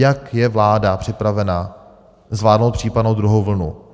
Jak je vláda připravena zvládnout případnou druhou vlnu?